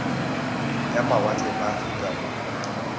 ya mawatle ba aforika borwa